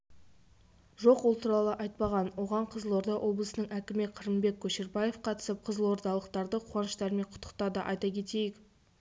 жоқ ол туралы айтпаған оған қызылорда облысының әкімі қырымбек көшербаев қатысып қызылордалықтарды қуаныштарымен құттықтады айта кетейік